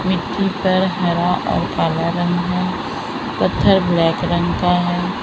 मिट्टी पर हरा और काला रंग है पत्थर ब्लैक रंग का है।